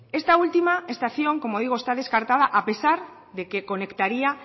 esta última estación como digo está descartada a pesar de que conectaría